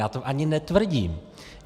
Já to ani netvrdím.